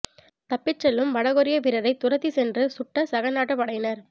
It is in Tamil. தப்பிச் செல்லும் வடகொரிய வீரரை துரத்திச் சென்று சுட்ட சக நாட்டுப் படையினர்